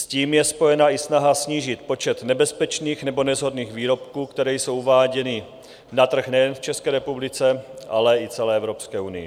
S tím je spojena i snaha snížit počet nebezpečných nebo neshodných výrobků, které jsou uváděny na trh nejen v České republice, ale i celé Evropské unii.